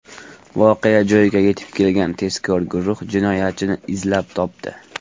Voqea joyiga yetib kelgan tezkor guruh jinoyatchini izlab topdi.